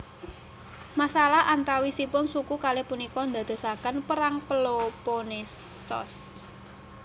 Masalah antawisipun suku kalih punika ndadosaken Perang Peloponnesos